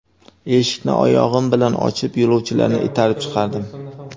Eshikni oyog‘im bilan ochib, yo‘lovchilarni itarib chiqardim.